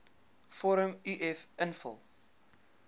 vorm uf invul